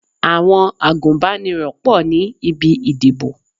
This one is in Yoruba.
Àwọn agùnbánirọ̀ pọ̀ ní ibi ìdìbò.